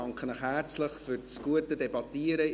Ich danke herzlich fürs gute Debattieren.